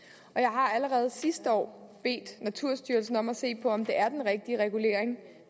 har allerede sidste år bedt naturstyrelsen om at se på om det er den rigtige regulering